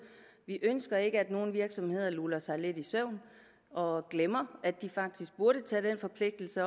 vi ønsker ikke at nogen virksomheder luller sig i søvn og glemmer at de faktisk burde sig den forpligtelse